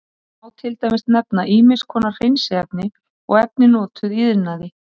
Þar má til dæmis nefna ýmiss konar hreinsiefni og efni notuð í iðnaði.